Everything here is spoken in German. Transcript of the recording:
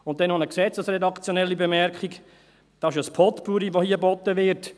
Dann noch eine gesetzesredaktionelle Bemerkung: Es ist ein Potpourri, das hier geboten wird.